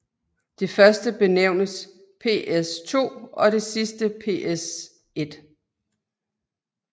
Det første benævnes PSII og det sidste PSI